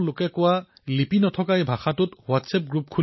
চাওতে চাওতে এই অভিযানত ৰংগ সম্প্ৰদায়ৰ সকলো লোক জড়িত হবলৈ ধৰিলে